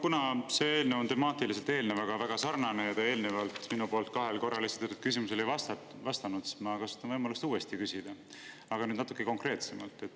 Kuna see eelnõu on temaatiliselt eelnevaga väga sarnane ja te eelnevalt minu poolt kahel korral esitatud küsimusele ei vastanud, siis ma kasutan võimalust uuesti küsida, aga nüüd natuke konkreetsemalt.